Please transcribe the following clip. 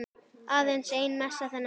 Aðeins ein messa þennan dag.